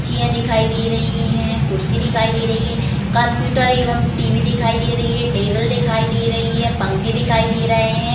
Chia दिखाई दे रही हैं कुर्सी दिखाई दे रही है कम्प्यूटर एवं टी_वी दिखाई दे रही है टेबल दिखाई दे रही है पंखे दिखाई दे रहे हैं।